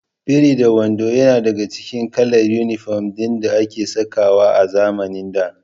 Biri-da-wando yana daka cikin kalar inifom ɗin da ake sakawa a zamanin da